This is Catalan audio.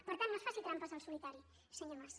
per tant no es faci trampes al solitari senyor mas